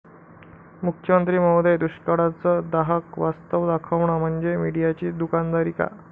मुख्यमंत्री महोदय, दुष्काळाचं दाहक वास्तव दाखवणं म्हणजे मीडियाची दुकानदारी का?